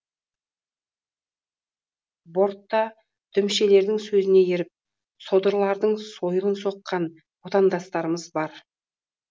бортта дүмшелердің сөзіне еріп содырлардың сойылын соққан отандастарымыз бар